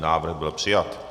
Návrh byl přijat.